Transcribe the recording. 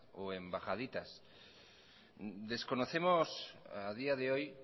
o embajaditas desconocemos a día de hoy